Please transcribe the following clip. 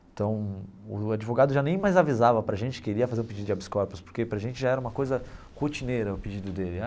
Então, o advogado já nem mais avisava para gente que ele ia fazer o pedido de habeas corpus, porque para gente já era uma coisa rotineira o pedido dele.